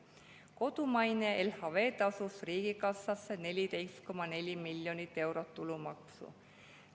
Kodumaine LHV tasus riigikassasse 14,4 miljonit eurot tulumaksu.